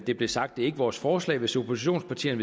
det blev sagt det er ikke vores forslag hvis oppositionspartierne